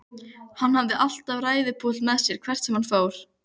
Hann hafði alltaf ræðupúlt með sér hvert sem hann fór.